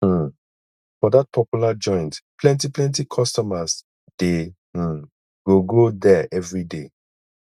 um for dat popular joint plenty plenty customers dey um go go there everyday